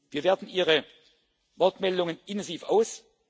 Jahrzehnt. Wir werten Ihre Wortmeldungen intensiv